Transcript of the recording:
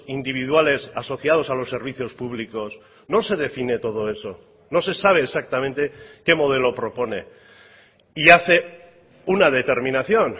individuales asociados a los servicios públicos no se define todo eso no se sabe exactamente qué modelo propone y hace una determinación